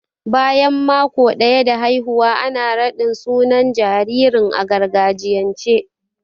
Bayan maƙo daya da haihuwa ana raɗin sunan jaririn a gargajiyance.